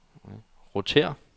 rotér